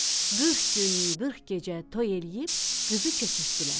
Qırx gün, qırx gecə toy eləyib, qızı köçürtdülər.